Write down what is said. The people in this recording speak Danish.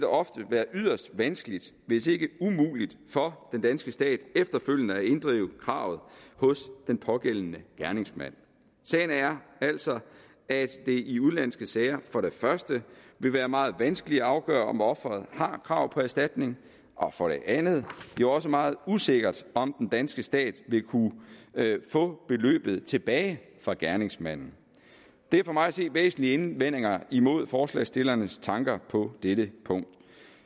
ofte være yderst vanskeligt hvis ikke umuligt for den danske stat efterfølgende at inddrive kravet hos den pågældende gerningsmand sagen er altså at det i udenlandske sager for det første vil være meget vanskeligt at afgøre om offeret har krav på erstatning og for det andet også meget usikkert om den danske stat vil kunne få beløbet tilbage fra gerningsmanden det er for mig at se væsentlige indvendinger imod forslagsstillernes tanker på dette punkt